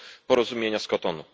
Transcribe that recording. porozumienia z Kotonu.